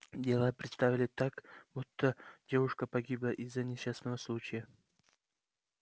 дело представили так будто девушка погибла из-за несчастного случая